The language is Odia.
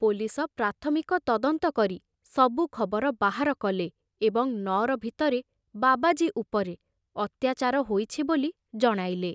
ପୋଲିସ ପ୍ରାଥମିକ ତଦନ୍ତ କରି ସବୁ ଖବର ବାହାର କଲେ ଏବଂ ନଅର ଭିତରେ ବାବାଜୀ ଉପରେ ଅତ୍ୟାଚାର ହୋଇଛି ବୋଲି ଜଣାଇଲେ।